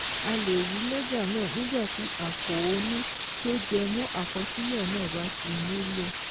A lè rí lẹ́jà náà nígbà tí àkóónú tó jẹ mọ́ àkọsílẹ̀ náà bá ti nílò